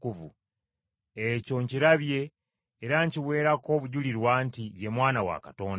Ekyo nkirabye era nkiweerako obujulirwa nti Ye Mwana wa Katonda.”